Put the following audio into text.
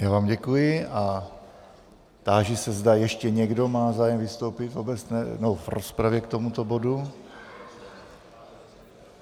Já vám děkuji a táži se, zda ještě někdo má zájem vystoupit v rozpravě k tomuto bodu.